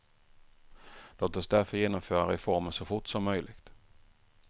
Låt oss därför genomföra reformen så fort som möjligt.